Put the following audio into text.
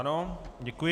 Ano, děkuji.